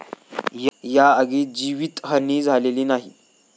या आगीत जीवितहानी झालेली नाही.